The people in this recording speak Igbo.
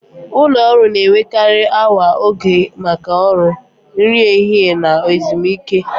Ụlọ ọrụ na-enwekarị oge awa maka ọrụ, nri ehihie na ezumike.